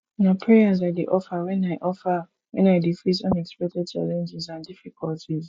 na prayers i dey offer when i offer when i dey face unexpected challenges and difficulties